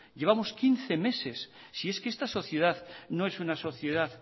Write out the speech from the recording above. llevamos quince meses si es que esta sociedad no es una sociedad